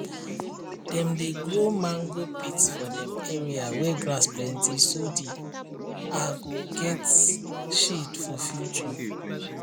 dem dey grow mango pit for dem area wey grass plenty so de are go get shade for future